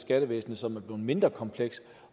skattevæsen som er blevet mindre kompleks